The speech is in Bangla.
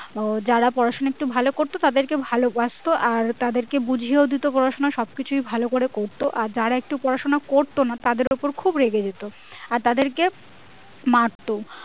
আহ যারা পড়াশুনো ভালো করতো তাদেরকে ভালোবাসতো আর তাদের কে বুঝিয়াও দিতি পড়াশুনো সবকিছুই ভালো করে করতো আর যারা একটু পড়াশোনা করতো না তাদের ওপর খুব রেগে যেত আর তাদের কে মারতো